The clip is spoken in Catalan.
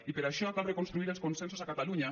i per això cal reconstruir els consensos a catalunya